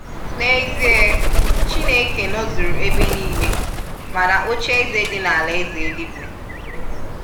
N'ezie Chineke n' ozụrụ ebe nịịle mana oche eze di na-alaeze eluigwe.